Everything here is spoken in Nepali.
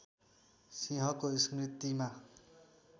सिंहको स्मृतिमा